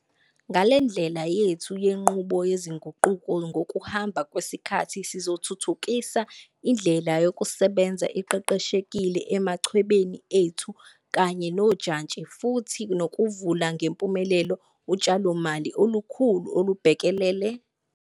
Ngale ndlela yethu yenqubo yezinguquko ngokuhamba kwesikhathi sizothuthukisa indlela yokusebenza eqeqeshekile emachwebeni ethu kanye nojantshi futhi nokuvula ngempumelelo utshalomali olukhulu olubhekelele.